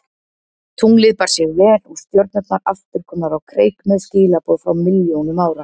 Tunglið bar sig vel og stjörnurnar aftur komnar á kreik með skilaboð frá milljónum ára.